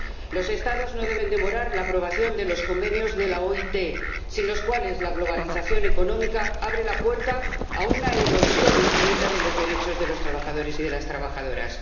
Los Estados no deben demorar la aprobación de los convenios de la OIT, sin los cuales la globalización económica abre la puerta a una erosión infinita de los derechos de los trabajadores y de las trabajadoras.